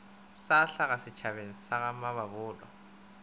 sa hlaga setšhabeng sa gamamabolo